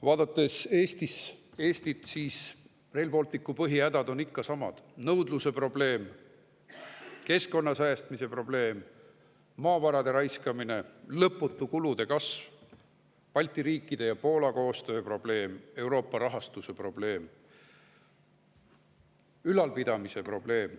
Vaadates Eestit, näeme, et Rail Balticu põhihädad on ikka samad: nõudluse probleem, keskkonna säästmise probleem, maavarade raiskamine, lõputu kulude kasv, Balti riikide ja Poola koostöö probleem, Euroopa rahastuse probleem, ülalpidamise probleem.